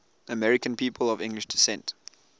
american people of english descent